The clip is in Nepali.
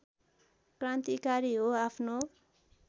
क्रान्तिकारी हो आफ्नो